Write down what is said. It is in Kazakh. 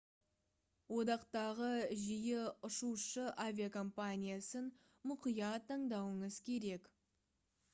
одақтағы жиі ұшушы авиакомпаниясын мұқият таңдауыңыз керек